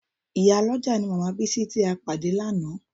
Ìyálọ́jà ni màmá Bísí tí a pàdé lánàá